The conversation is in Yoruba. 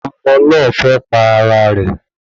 Ọmọ náà fẹ́ pa ara rẹ̀